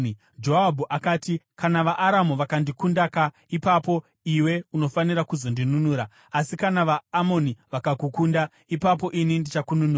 Joabhu akati, “Kana vaAramu vandikundaka, ipapo iwe unofanira kuzondinunura; asi kana vaAmoni vakakukunda, ipapo ini ndichakununura.